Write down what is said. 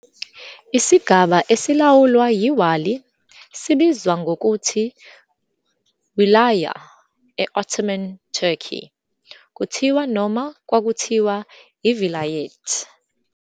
Isigaba "esilawulwa yiWāli" sibizwa ngokuthi "Wilayah", e-Ottoman Turkey kuthiwa noma kwakuthiwa "iVilayet".